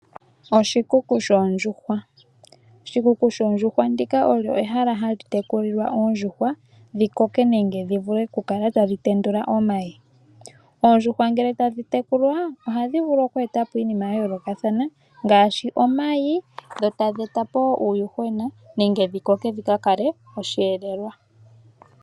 Oshikuku shoondjuhwa. Oshikuku shoondjuhwa ndika olyo ehala hali tekulilwa oondjuhwa dhikoke nenge dhivule oku tendula omayi . Oondjuhwa ngele tadhi tekulwa ohadhi vulu oku etapo iinima ya yoolokathana ngaashi omayi dho tadhi etapo woo uuyuhwena nenge dhi koke dhika kale osheelelwa.